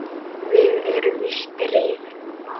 Við erum í stríði núna.